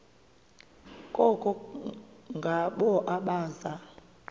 koko ngabo abaza